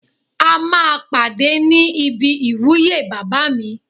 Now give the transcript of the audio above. A máa pàdé ní ibi ìwúyè bàbá mi